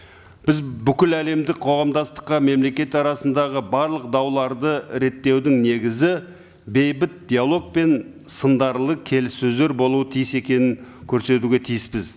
біз бүкіл әлемдік қоғамдастыққа мемлекет арасындағы барлық дауларды реттеудің негізі бейбіт диалог пен сындарлы келіссөздер болуы тиіс екенін көрсетуге тиіспіз